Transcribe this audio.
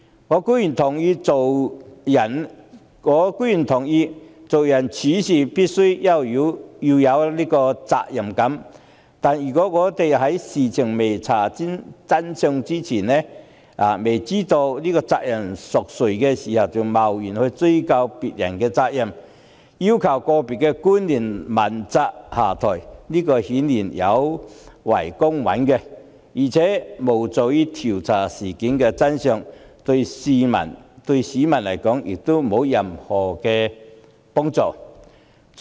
我固然認同做人處事必須有責任感，但如果在未查明事情真相、未知責任誰屬前就貿然追究別人的責任，要求個別官員問責下台，顯然有違公允，亦無助調查事件的真相，對市民也沒有任何幫助。